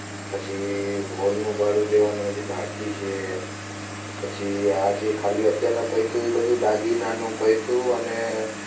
પછી હોલનું ભાડું દેવાનું હજુ બાકી છે પછી આજે ખાલી અત્યારનાં પૈસે એ બધું દાગીનાનું પય્તું અને